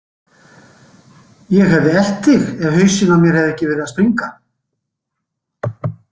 Ég hefði elt þig ef hausinn á mér hefði ekki verið að springa.